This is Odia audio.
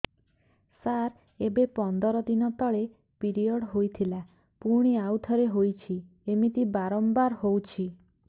ସାର ଏବେ ପନ୍ଦର ଦିନ ତଳେ ପିରିଅଡ଼ ହୋଇଥିଲା ପୁଣି ଆଉଥରେ ହୋଇଛି ଏମିତି ବାରମ୍ବାର ହଉଛି